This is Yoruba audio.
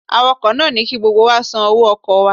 Awakọ̀ náà ní ki gbogbo wa ó san owó ọkọ̀ wa